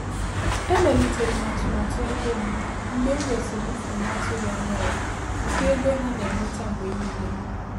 Emelitere m atụmatụ ego m mgbe m nwesịrị mfu na-atụghị anya ya nke ego ha na-enweta mgbe niile.